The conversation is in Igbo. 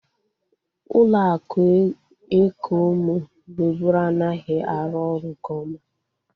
Ụlọ akụ eko mụ nweburu anaghị arụ ọrụ nke oma